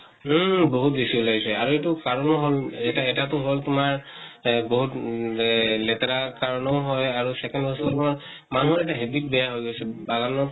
উম বহুত বেছি উলাইছে আৰু এইটো কাৰণো হʼল, এটা, এটাতো হʼল তোমাৰ এ বহুত উম লে লেতেৰা কাৰণো হয় আৰু second হৈছে তোমাৰ মানুহৰ এটা habit বেয়া হৈ গৈছে , বাগানত